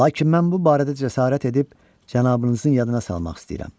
Lakin mən bu barədə cəsarət edib cənabınızın yadına salmaq istəyirəm.